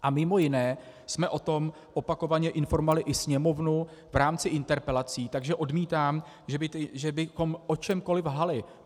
A mimo jiné jsme o tom opakovaně informovali i Sněmovnu v rámci interpelací, takže odmítám, že bychom o čemkoliv lhali.